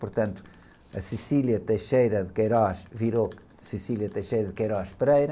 Portanto, a virou,